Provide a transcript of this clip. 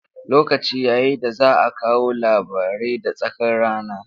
Lokaci ya yi da za a kawo labarai da tsakar rana.